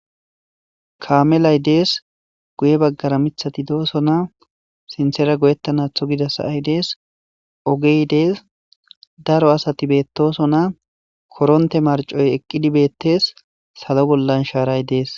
kaamelay dees guye baggara mithati doosona sinthera goyettanatho gidasa7ay dees ogey dees daro asati beettosona koronte marcoy eqqidi beettees salo bollan shaaray dees